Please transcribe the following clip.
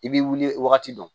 I b'i wuli wagati dɔ